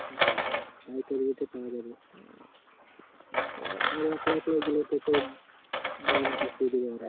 জ্বি আর একলা একলা গেলে তো সে দাম চাপায় দিবে